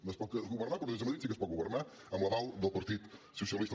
no es pot governar però des de madrid sí que es pot governar amb l’aval del partit socialista